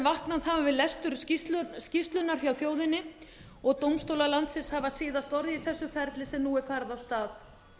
vaknað hafa við lestur skýrslunnar hjá þjóðinni og dómstólar landsins hafa síðasta orðið í þessu ferli sem nú er farið af stað